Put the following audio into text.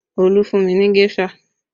Olu fún mi ní géṣà